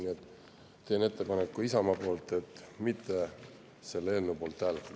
Nii et teen Isamaa nimel ettepaneku mitte selle eelnõu poolt hääletada.